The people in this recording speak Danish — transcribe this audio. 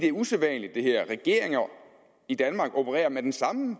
er usædvanligt regeringer i danmark opererer med den samme